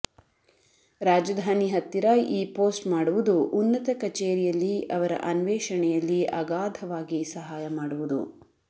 ರಾಜಧಾನಿ ಹತ್ತಿರ ಈ ಪೋಸ್ಟ್ ಮಾಡುವುದು ಉನ್ನತ ಕಚೇರಿಯಲ್ಲಿ ಅವರ ಅನ್ವೇಷಣೆಯಲ್ಲಿ ಅಗಾಧವಾಗಿ ಸಹಾಯ ಮಾಡುವುದು